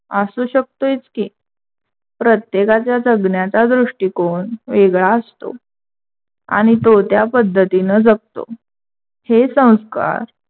असू शकतोयच की. प्रत्येकाचा जगणाच्या दृष्टीकोण वेगळा असतो. आणि तो त्या पद्धतीने जगतो हे संस्कार